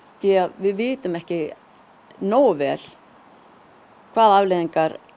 við vitum ekki hvaða afleiðingar